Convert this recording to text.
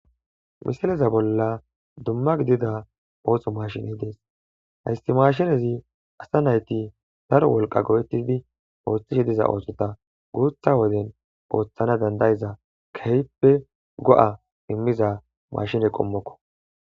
misileza bolla dumma gidida ooso mashiney dees haysti mashinezi asa nayti daro wolqa go7ettidi ooththishe diza oosota guutha woden ooththana dandayiza keyppe go7a immiza mashine qommokko